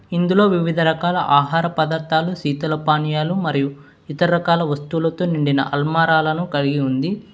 ఇందులో వివిధ రకాల ఆహార పదార్థాలు శీతల పానీయాలు మరియు ఇతరకాల వస్తువులతో నిండిన అల్మారాలను కలిగి ఉంది